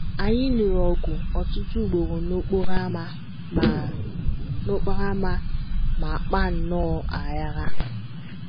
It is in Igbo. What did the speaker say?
Anyị lụrụ ọgụ ọtụtụ ugboro n’okporo ámá ma n’okporo ámá ma kpaa nnọọ aghara.